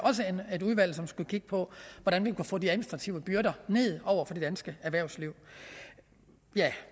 et udvalg som skulle kigge på hvordan man kunne få de administrative byrder ned over for det danske erhvervsliv